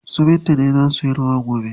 Su Binta ne za suyi rawa gobe.